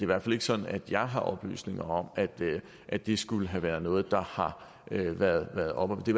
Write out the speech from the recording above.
hvert fald ikke sådan at jeg har oplysninger om at det skulle have været noget der har været oppe det